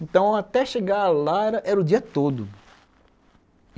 Então até chegar lá era era o dia todo.